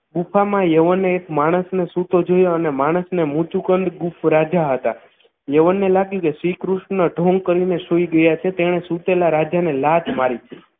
ગુફામા એવોને એક માણસને સૂતો જોયો અને માણસને મુત્સુકન ગુપ્ત રાજા હતા એવોને લાગ્યું શ્રીકૃષ્ણ ઢોંગ કરીને સુઈ ગયા છે તેને સુતેલા રાજાને લાત મારી છે